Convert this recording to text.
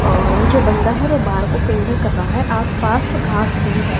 और वो जो बंदा है वो बाहर को फिंगर कर रहा है आसपास घास भी है।